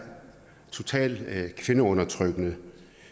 totalt kvindeundertrykkende